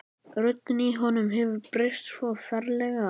Röddin í honum hefur breyst svo ferlega.